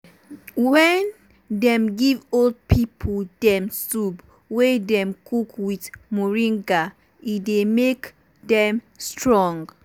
wen dem give old pipo dem soup wey dem cook with moringa e dey make dem strong.